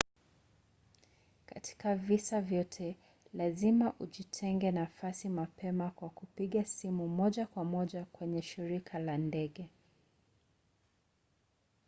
katika visa vyote lazima ujitengee nafasi mapema kwa kupiga simu moja kwa moja kwenye shirika la ndege